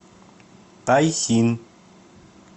тайсин